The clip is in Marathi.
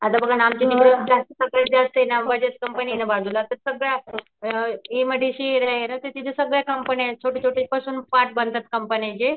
बजाज कंपनी ना बाजूला तर सगळे एमआयडीसी एरिया ये ना तर तिथं सगळ्या कंपन्यायें छोटे छोटे पार्ट बनतात कंपन्यांचे.